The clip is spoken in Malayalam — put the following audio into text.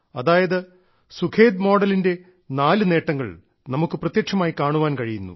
അതായത് സുഖേദ് മോഡലിന്റെ നാല് നേട്ടങ്ങൾ നമുക്ക് പ്രത്യക്ഷമായി കാണാൻ കഴിയുന്നു